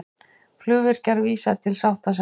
Flugvirkjar vísa til sáttasemjara